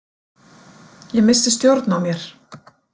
Ég missti stjórn á mér.